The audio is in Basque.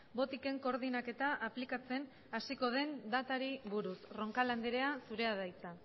botiken koordinaketa aplikatzen hasiko den datari buruz roncal andrea zurea da hitza